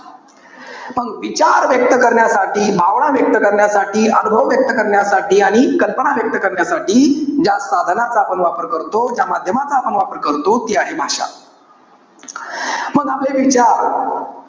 मग विचार व्यक्त करण्यासाठी, भावना व्यक्त करण्यासाठी, अनुभव व्यक्त करण्यासाठी, आणि कल्पना व्यक्त करण्यासाठी ज्या साधनांचा आपण वापर करतो. ज्या माध्यमाचा आपण वापर करतो, ती आहे भाषा. मग आपले विचार,